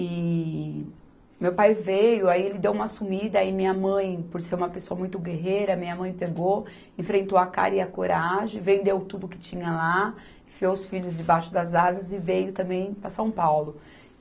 E meu pai veio, aí ele deu uma sumida e minha mãe, por ser uma pessoa muito guerreira, minha mãe pegou, enfrentou a cara e a coragem, vendeu tudo o que tinha lá, enfiou os filhos debaixo das asas e veio também para São Paulo.